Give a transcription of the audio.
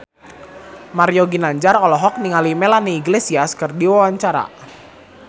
Mario Ginanjar olohok ningali Melanie Iglesias keur diwawancara